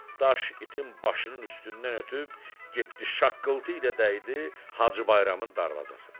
Daş itin başının üstündən ötüb getdi şaqqıltı ilə dəydi Hacı Bayramın darvazası.